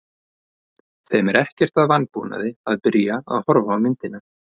Þeim er ekkert að vanbúnaði að byrja að horfa á myndina.